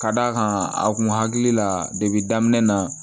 Ka d'a kan a kun hakili la depi daminɛ na